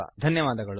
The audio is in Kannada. ಧನ್ಯವಾದಗಳು